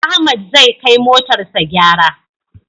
Ahmad zai kai motar sa gyara